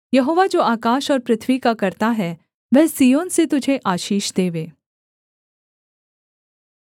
यहोवा जो आकाश और पृथ्वी का कर्ता है वह सिय्योन से तुझे आशीष देवे